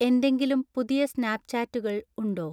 എന്തെങ്കിലും പുതിയ സ്‌നാപ്പ്ചാറ്റുകൾ ഉണ്ടോ